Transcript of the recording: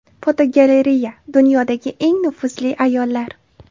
Fotogalereya: Dunyodagi eng nufuzli ayollar.